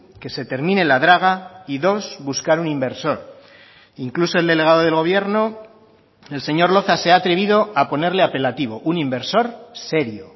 que se termine la draga y dos buscar un inversor incluso el delegado del gobierno el señor loza se ha atrevido a ponerle apelativo un inversor serio